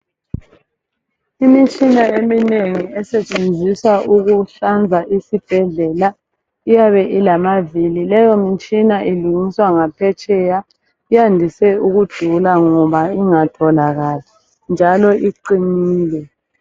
Imitshina eminengi esetshenziswa ukuhlanza isibhedlela iyabe ilamavili. Leyomitshina ilungiswa ngaphetsheya. Yande ukudula ke yona, ngoba ingatholakali, njalo iqinile.